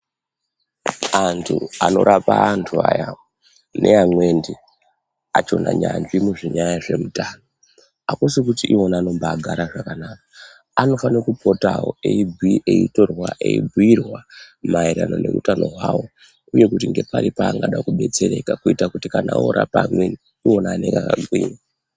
Antu anorapa antu aya neamwendi achona nyanzvi munyanya dzezvemutano. Hakusikuti ivona anobagara zvakanaka anofana kupotavo eibu eitorwa eibhuirwa maererano neutano hwavo, uye kuti ngepari paanoda kubetsereka kuita kuti kana orapa amweni ivona anenge akagwinya.